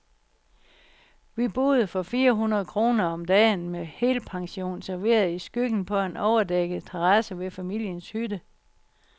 Vi boede to for fire hundrede kroner om dagen, med helpension, serveret i skyggen på en overdækket terrasse ved familiens hytte.